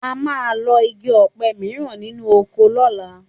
A máa lọ́ igi ọ̀pẹ mìíràn sínú oko lọ́la